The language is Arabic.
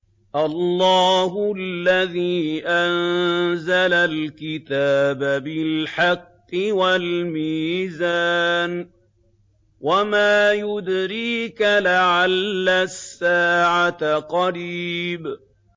اللَّهُ الَّذِي أَنزَلَ الْكِتَابَ بِالْحَقِّ وَالْمِيزَانَ ۗ وَمَا يُدْرِيكَ لَعَلَّ السَّاعَةَ قَرِيبٌ